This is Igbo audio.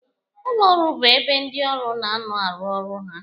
Ụlọ ọrụ bụ ebe ndị ọrụ na anọ arụ ọrụ ha.